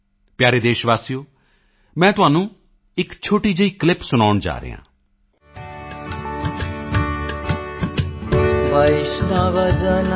ਪਿਆਰੇ ਦੇਸ਼ਵਾਸੀਓ ਮੈਂ ਤੁਹਾਨੂੰ ਇੱਕ ਛੋਟੀ ਜਿਹੀ ਕਲਿੱਪ ਸੁਣਾਉਣ ਜਾ ਰਿਹਾ ਹਾਂ